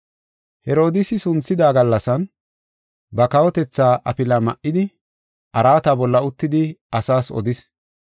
Herodiisi bareda gallasan ba kawotethaa afilaa ma7idi, araata bolla uttidi asaas odis.